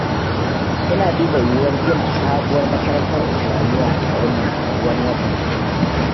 Ina duba yiwuwar gina sabuwar makarantar islamiyya a garinmu wani watan.